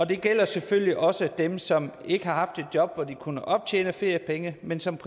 det gælder selvfølgelig også dem som ikke har haft et job hvor de kunne optjene feriepenge men som